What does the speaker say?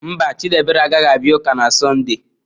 Mba, Chidiebere agaghị abịa ụka na sonde.